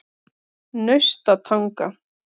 Naustatanga